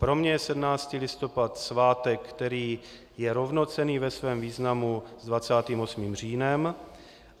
Pro mě je 17. listopad svátek, který je rovnocenný ve svém významu s 28. říjnem.